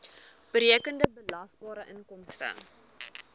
berekende belasbare inkomste